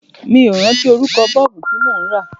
Mi ò rántí orúkọ Bọ́ọ̀bù tí mò ń rà.